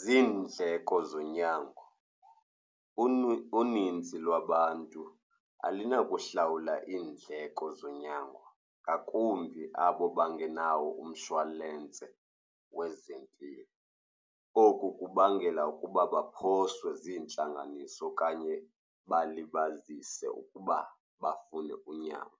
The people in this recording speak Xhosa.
Ziindleko zonyango, uninzi lwabantu alunakuhlawula iindleko zonyango, ngakumbi abo bangenawo umshwalensi wezempilo. Oku kubangela ukuba baphoswe ziintlanganiso okanye balibazise ukuba bafune unyango.